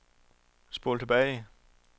spol tilbage